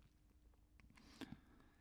DR P3